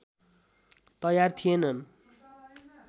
तयार थिएनन्